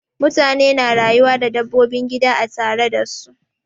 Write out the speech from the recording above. Mutane na rayuwa da dabbobin gida a tare da su.